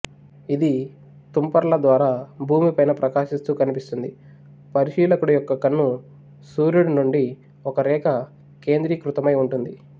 ఇది తుంపరల ద్వారా భూమి పైన ప్రకాశిస్తూ కనిపిస్తుంది పరిశీలకుడు యొక్క కన్ను సూర్యుడు నుండి ఒక రేఖ కేంద్రీకృతమైఉంటుంది